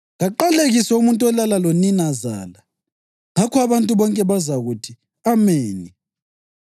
‘Kaqalekiswe umuntu olala loninazala.’ Ngakho abantu bonke bazakuthi, ‘Ameni!’